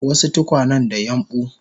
wasu tukwanen da yambu